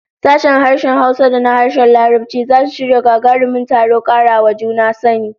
Sashen harshen Hausa da na harshen Larabci zasu shirya gagarumin taron kara wa juna sani